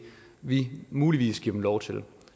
vi muligvis giver dem lov til